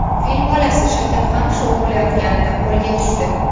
Fil bolasi shakarqamish o‘g‘irlayotganida qo‘lga tushdi.